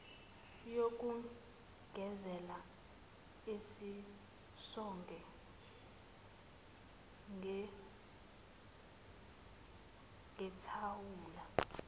yokugezela ezisonge ngethawula